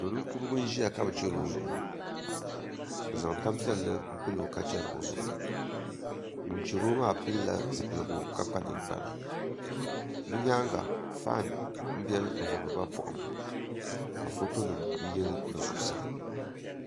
Do ninkurigu n ʒiya ka bi chɛri o zuɣu bi zaŋ tanpiɛlli n pilo ka chɛri o zuɣu ŋun chɛro maa pilila zipiligu ka kpa ninkpara bi nyaanga faan nbiɛni n vubiriba poham ka foto nim yili bi zuɣusaa